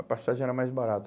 A passagem era mais barata.